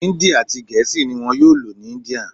Hindi ati gèésì ni wón yóò lò ní India